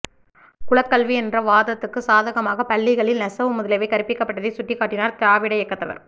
குலக்கல்வி என்ற வாதத்துக்குச் சாதகமாகப் பள்ளிகளில் நெசவு முதலியவை கற்பிக்கப்பட்டதைச் சுட்டிக்காட்டினர் திராவிட இயக்கத்தவர்